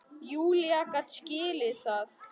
Júlía gat skilið það.